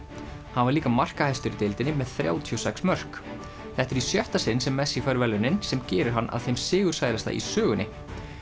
hann var líka markahæstur í deildinni með þrjátíu og sex mörk þetta er í sjötta sinn sem messi fær verðlaunin sem gerir hann að þeim sigursælasta í sögunni